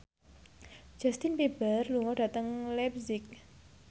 Justin Beiber lunga dhateng leipzig